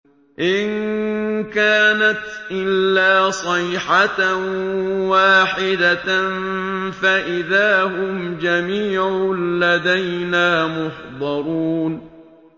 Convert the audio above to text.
إِن كَانَتْ إِلَّا صَيْحَةً وَاحِدَةً فَإِذَا هُمْ جَمِيعٌ لَّدَيْنَا مُحْضَرُونَ